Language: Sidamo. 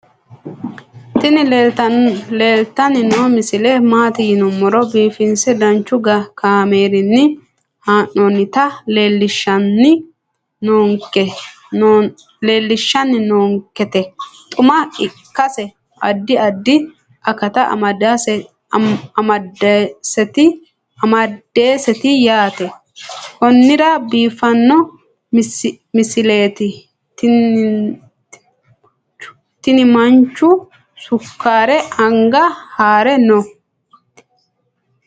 tini leeltanni noo misile maaati yiniro biifinse danchu kaamerinni haa'noonnita leellishshanni nonketi xuma ikkase addi addi akata amadaseeti yaate konnira biiffanno misileeti tinimanchu sukkaare anaga hare no